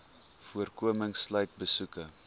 voorkoming sluit besoeke